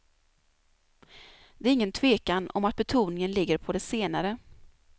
Det är ingen tvekan om att betoningen ligger på det senare.